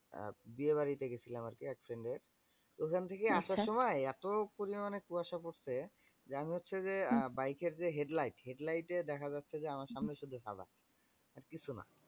আহ বিয়েবাড়িতে গেছিলাম আর কি এক friend এর তো ওখান থেকে আসার সময় এতো পরিমানে কুয়াশা পড়ছে যে, আমি হচ্ছে যে আহ bike এর যে headlight headlight এ দেখা যাচ্ছে যে, আমার সামনে শুধু সাদা আর কিচ্ছুনা।